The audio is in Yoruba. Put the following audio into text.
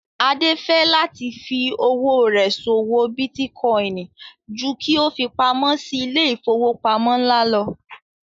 Adé fẹ́ láti fí owó rẹ̀ ṣòwò bítíkọìnì ju kí ó fi pamó sí ilé ìfowópamọ́ ńlá lọ